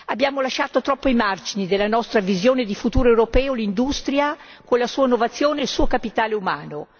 Abbiamo lasciato troppo ai margini della nostra visione di futuro europeo l'industria con la sua innovazione e il suo capitale umano